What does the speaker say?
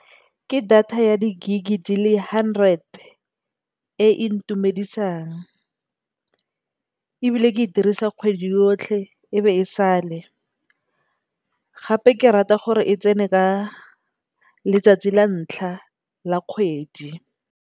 Ke data ya di gigabytes di le hundred e ntumedisang ebile, ke e dirisa kgwedi yotlhe e be e sale gape ke e rata gore e tsene ka letsatsi la ntlha la kgwedi.